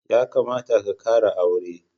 Ya kamata ka kara aure.